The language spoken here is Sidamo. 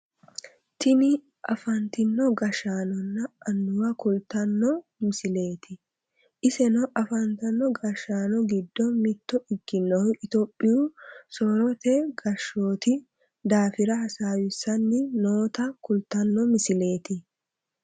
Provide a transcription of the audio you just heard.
Tini afantino gashshaanonna annuwa kultanno misileeti iseno afantono gashshaano giddo mitto ikkinohu itiyophiyu soorrote gashshooti daafira hasaawisanni noota kultanno misileet